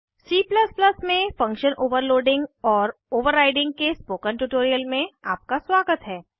C में function overloading और overriding के स्पोकन ट्यूटोरियल में आपका स्वागत है